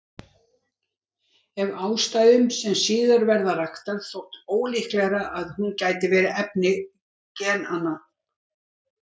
Af ástæðum sem síðar verða raktar þótti ólíklegra að hún gæti verið efni genanna.